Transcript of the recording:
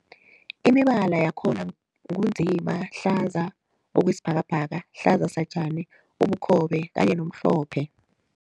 Imibala yakhona ngu nzima, hlaza okwesibhakabhaka, hlaza satjani, ubukhobe kanye nomhlophe.